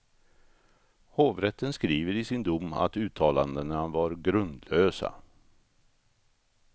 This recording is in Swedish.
Hovrätten skriver i sin dom att uttalandena var grundlösa.